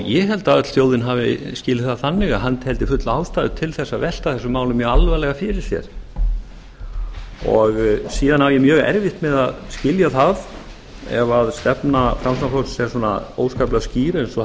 ég held að öll þjóðin hafi skilið það þannig að hann teldi fulla ástæðu til þess að velta þessum málum mjög alvarlega fyrir sér siðan á ég mjög erfitt með að skilja það ef stefna framsóknarflokksins er svona óskaplega skýr eins og